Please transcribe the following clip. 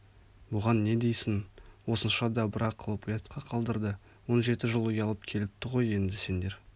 бұған не дейсің осынша дабыра қылып ұятқа қалдырды он жеті жыл ұялып келіпті ғой енді сендер